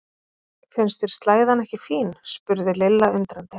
Finnst þér slæðan ekki fín? spurði Lilla undrandi.